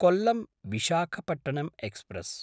कोल्लम्–विशाखपट्टणम् express